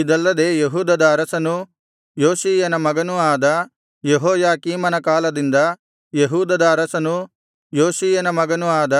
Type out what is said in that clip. ಇದಲ್ಲದೆ ಯೆಹೂದದ ಅರಸನೂ ಯೋಷೀಯನ ಮಗನೂ ಆದ ಯೆಹೋಯಾಕೀಮನ ಕಾಲದಿಂದ ಯೆಹೂದದ ಅರಸನೂ ಯೋಷೀಯನ ಮಗನೂ ಆದ